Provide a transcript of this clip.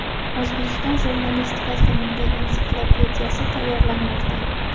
O‘zbekiston jurnalistikasi milliy ensiklopediyasi tayyorlanmoqda.